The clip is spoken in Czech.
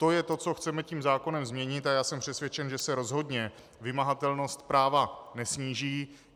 To je to, co chceme tím zákonem změnit, a já jsem přesvědčen, že se rozhodně vymahatelnost práva nesníží.